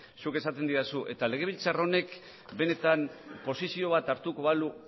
zuk esaten didazu eta legebiltzar honek benetan posizio bat hartuko balu